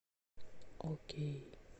окей